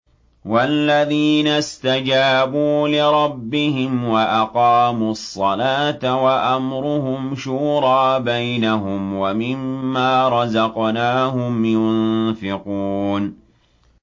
وَالَّذِينَ اسْتَجَابُوا لِرَبِّهِمْ وَأَقَامُوا الصَّلَاةَ وَأَمْرُهُمْ شُورَىٰ بَيْنَهُمْ وَمِمَّا رَزَقْنَاهُمْ يُنفِقُونَ